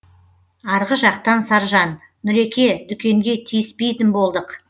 арғы жақтан саржан нұреке дүкенге тиіспейтін болдық